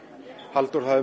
Halldór